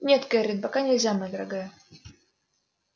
нет кэррин пока нельзя моя дорогая